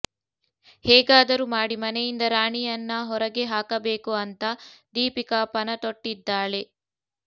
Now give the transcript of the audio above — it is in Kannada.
ಹೇಗಾದರೂ ಮಾಡಿ ಮನೆಯಿಂದ ರಾಣಿಯನ್ನ ಹೊರಗೆ ಹಾಕಬೇಕು ಅಂತ ದೀಪಿಕಾ ಪಣ ತೊಟ್ಟಿದ್ದಾಳೆ